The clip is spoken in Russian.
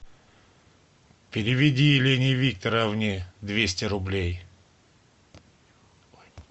переведи елене викторовне двести рублей